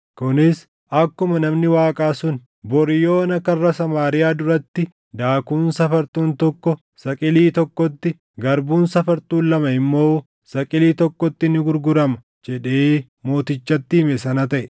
Kunis akkuma namni Waaqaa sun, “Bori yoona karra Samaariyaa duratti daakuun safartuun tokko saqilii tokkotti, garbuun safartuun lama immoo saqilii tokkotti ni gurgurama” jedhee mootichatti hime sana taʼe.